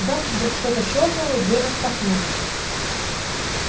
в замке вдруг что-то щёлкнуло и дверь распахнулась